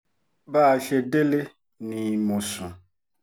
bá a ṣe délé ni mo sùn